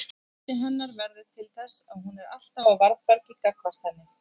Mislyndi hennar verður til þess að hún er alltaf á varðbergi gagnvart henni.